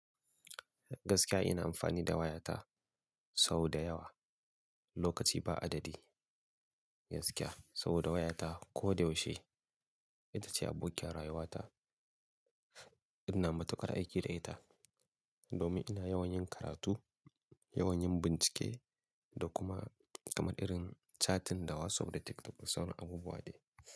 Gaskiya ina amfani da wayata sau da yawa, lokaci ba adadi gaskiya. Saboda wayata ko da yaushe ita ce abokiyar rayuwata. Ina matuƙar aiki da ita domin ina yawan yin karatu, yawan yin bincike da kuma kamar irin catin da whatsup da TikTok sauran abubuwa dai.